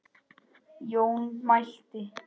Jón mælti